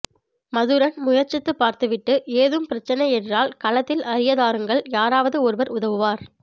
மதுரன் முயற்சித்து பார்த்துவிட்டு ஏதும் பிரைச்சனை என்றால் களத்தில் அறியதாருங்கள் யாராவது ஒருவர் உதவுவார்